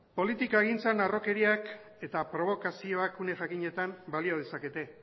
politikagintzan harrokeriak eta probokazioak une jakinetan balio dezakete